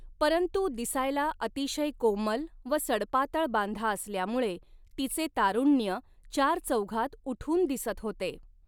परंतु दिसायला अतिशय कोमल व सडपातळ बांधा असल्यामुळे तिचे तारुण्य चारचौघात उठून दिसत होते.